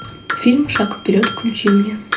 фильм шаг вперед включи мне